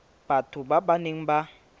batho ba ba neng ba